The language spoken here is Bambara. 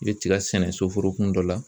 I bɛ tiga sɛnɛ soforokun dɔ la